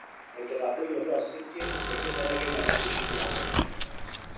tenkitadoyuto osinkir we nkibelekenyata enkishui tiatua enkare